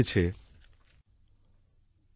अमृक्तम् धात तोकाय तनयाय शं यो